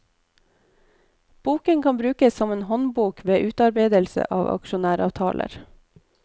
Boken kan brukes som en håndbok ved utarbeidelse av aksjonæravtaler.